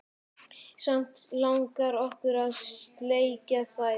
Samt langi okkur að sleikja þær.